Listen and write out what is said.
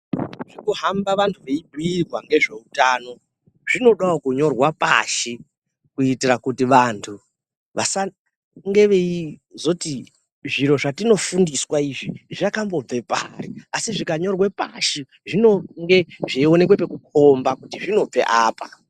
Zvekuhamba vantu veibhiirwa ngezveutano zvinodawo kunyorwa pashi kuitira kuti vantu vasange veizoti zviro zvatinofundiswa izvi zvakambobve pari. Asi zvikanyorwe pashi, zvinonge zveionekwe pekukomba kuti zvinobve apa.